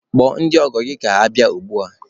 Kpọọ ndị ọgọ gị ka ha bịa ugbua!